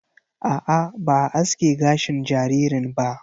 A'a, ba a aske gashin jaririn ba.